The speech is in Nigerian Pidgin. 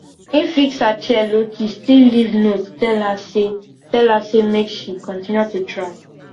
im fix her chair lowkey still leave note tell her say tell her say make she continue to try